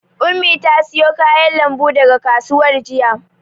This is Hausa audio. Ummi ta siyo kayan lambu daga kasuwar jiya.